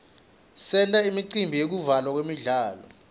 senta imicimbi yekuvulwa kwemidlalo